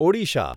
Odisha